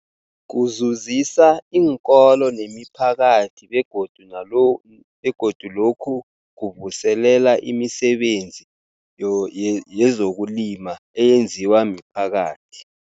Kuzuzisa iinkolo nemiphakathi begodu na lo begodu lokhu kuvuselela imisebenzi yoye yezokulima eyenziwa miphakathi.